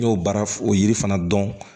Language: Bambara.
N y'o baara o yiri fana dɔn